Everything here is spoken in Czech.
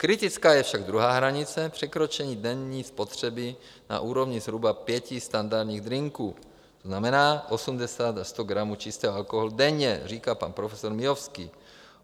Kritická je však druhá hranice - překročení denní spotřeby na úrovni zhruba pěti standardních drinků, to znamená 80 až 100 gramů čistého alkoholu denně, říká pan profesor Miovský.